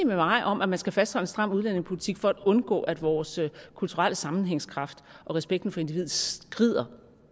med mig om at man skal fastholde en stram udlændingepolitik for at undgå at vores kulturelle sammenhængskraft og respekten for individet skrider